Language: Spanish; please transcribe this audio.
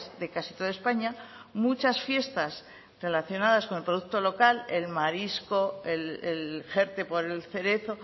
de casi toda españa muchas fiestas relacionadas con el producto local el marisco el jerte por el cerezo